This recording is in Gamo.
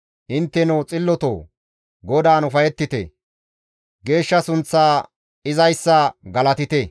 Intteno xillotoo! GODAAN ufayettite; geeshsha sunththa izayssa galatite.